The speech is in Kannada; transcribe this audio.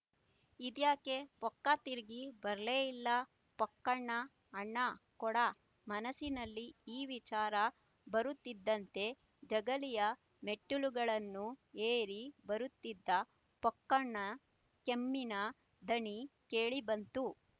ಇದ್ಯಾಕೆ ಪೊಕ್ಕ ತಿರುಗಿ ಬರಲೇ ಇಲ್ಲ ಪೊಕ್ಕನ ಅಣ್ಣ ಕೂಡ ಮನಸ್ಸಿನಲ್ಲಿ ಈ ವಿಚಾರ ಬರುತ್ತಿದ್ದಂತೇ ಜಗಲಿಯ ಮೆಟ್ಟಲುಗಳನ್ನು ಏರಿ ಬರುತ್ತಿದ್ದ ಪೊಕ್ಕನ ಕೆಮ್ಮಿನ ದನಿ ಕೇಳಿಬಂತು